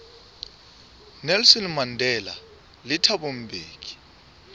nelson mandela le thabo mbeki